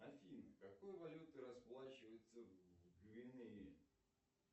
афина какой валютой расплачиваются в гвинее